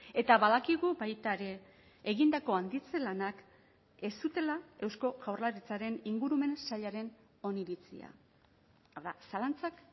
eta badakigu baita ere egindako handitze lanak ez zutela eusko jaurlaritzaren ingurumen sailaren oniritzia hau da zalantzak